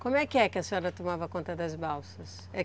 Como é que a senhora tomava conta das balsas?